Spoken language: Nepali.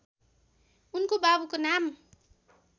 उनको बाबुको नाम